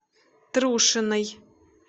трушиной